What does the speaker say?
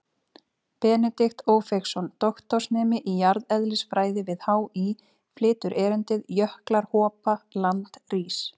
Benedikt Ófeigsson, doktorsnemi í jarðeðlisfræði við HÍ, flytur erindið: Jöklar hopa, land rís.